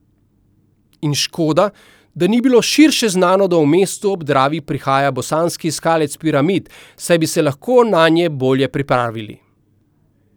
In škoda, da ni bilo širše znano, da v mesto ob Dravi prihaja bosanski iskalec piramid, saj bi se lahko nanj bolje pripravili.